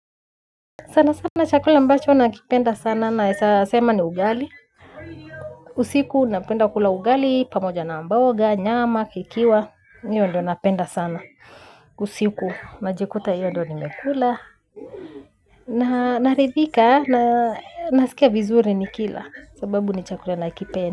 Sana sana chakula ambacho nakipenda sana naweza sema ni ugali. Usiku napenda kula ugali, pamoja na mboga, nyama, ikiwa. Hio ndio napenda sana. Usiku, najikuta hio ndio nimekula. Naridhika, nasikia vizuri nikila. Sababu ni chakula nakipenda.